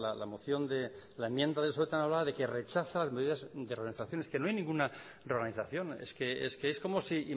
la moción de la enmienda de de que rechaza las medidas de reorganización es que no hay ninguna reorganización es que es como si